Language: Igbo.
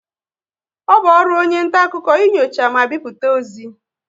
Ọ bụ ọrụ onye nta akụkọ inyocha ma bipụta ozi